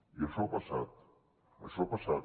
i això ha passat això ha passat